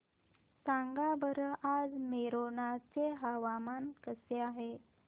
सांगा बरं आज मोरेना चे हवामान कसे आहे